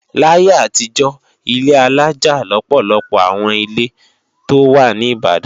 Láyé àtijọ́, ilé alájà lọ̀pọ̀lọpọ̀ àwọn ilé tó wà ní Ìbàdàn.